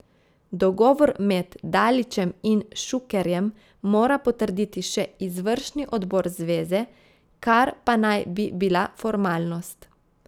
Dogovor med Dalićem in Šukerjem mora potrditi še izvršni odbor zveze, kar pa naj bi bila formalnost.